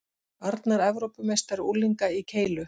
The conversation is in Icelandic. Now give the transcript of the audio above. Arnar Evrópumeistari unglinga í keilu